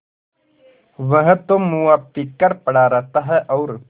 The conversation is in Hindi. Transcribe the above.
वह तो मुआ पी कर पड़ा रहता है और